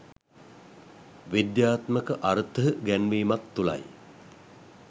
විද්‍යාත්මක අර්ථ ගැන්වීමක් තුළයි